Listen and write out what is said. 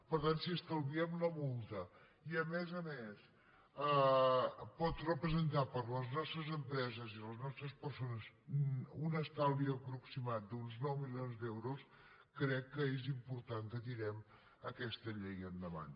per tant si estalviem la multa i a més a més pot representar per a les nostres empreses i les nostres persones un estalvi aproximat d’uns nou milions d’euros crec que és important que tirem aquesta llei endavant